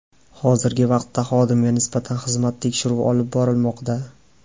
Hozirgi vaqtda xodimga nisbatan xizmat tekshiruvi olib borilmoqda.